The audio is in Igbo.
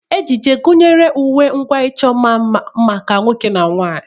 Ejiji gụnyere uwe na ngwa icho nma maka nwoke na nwanyị.